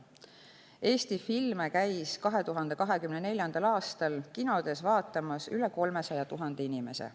Eesti filme käis 2024. aastal kinodes vaatamas üle 300 000 inimese.